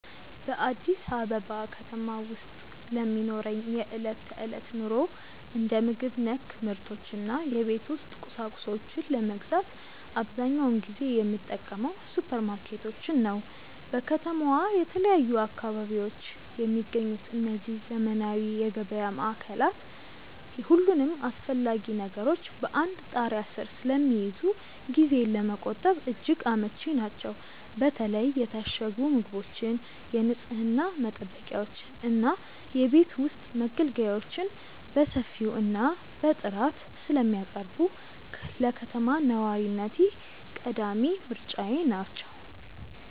በአዲስ አበባ ከተማ ውስጥ ለሚኖረኝ የዕለት ተዕለት ኑሮ፣ እንደ ምግብ ነክ ምርቶች እና የቤት ውስጥ ቁሳቁሶችን ለመግዛት አብዛኛውን ጊዜ የምጠቀመው ሱፐርማርኬቶችን ነው። በከተማዋ በተለያዩ አካባቢዎች የሚገኙት እነዚህ ዘመናዊ የገበያ ማዕከላት፣ ሁሉንም አስፈላጊ ነገሮች በአንድ ጣሪያ ስር ስለሚይዙ ጊዜን ለመቆጠብ እጅግ አመቺ ናቸው። በተለይ የታሸጉ ምግቦችን፣ የንፅህና መጠበቂያዎችን እና የቤት ውስጥ መገልገያዎችን በሰፊው እና በጥራት ስለሚያቀርቡ፣ ለከተማ ነዋሪነቴ ቀዳሚ ምርጫዬ ናቸው።